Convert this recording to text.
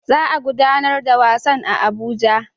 Za a gudanar da wasan a Abuja